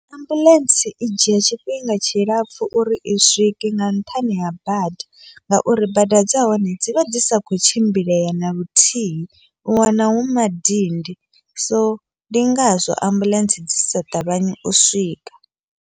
Ambuḽentse i dzhia tshifhinga tshilapfhu uri i swike, nga nṱhani ha bada ngauri bada dza hone dzivha dzi sa kho tshimbilea naluthihi u wana hu madindi, so ndi ngazwo ambuḽentse dzisa ṱavhanyi u swika.